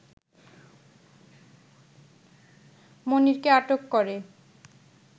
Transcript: মনিরকে আটক করে